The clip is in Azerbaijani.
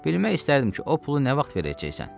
Bilmək istərdim ki, o pulu nə vaxt verəcəksən?